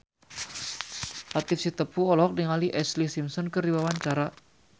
Latief Sitepu olohok ningali Ashlee Simpson keur diwawancara